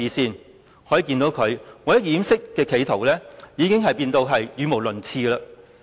由此可見，他為了掩飾企圖已經變得語無倫次。